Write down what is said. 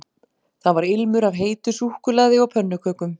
Það var ilmur af heitu súkkulaði og pönnukökum